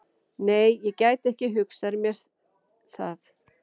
Nei, ég gæti ekki hugsað mér það.